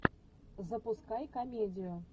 запускай комедию